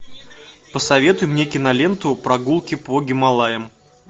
посоветуй мне киноленту прогулки по гималаям